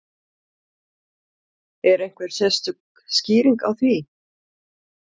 Er einhver sérstök skýring á því?